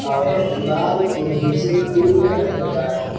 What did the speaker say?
और दीवार के नीचे पिंक कलर का है।